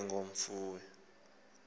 ke nge mfuyo